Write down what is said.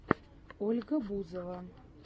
ольга бузова